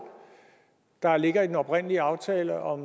der ligger i den oprindelige aftale om